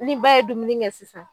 Ni ba ye dumuni kɛ sisan